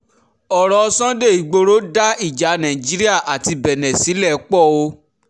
ọ̀rọ̀ sunday igboro dá ìjà nàìjíríà àti benne sílẹ̀ póò